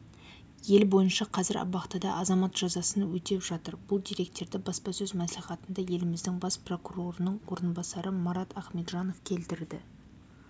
ел бойынша қазір абақтыда азамат жазасын өтеп жатыр бұл деректерді баспасөз мәслихатында еліміздің бас прокурорының орынбасары марат ахметжанов келтірді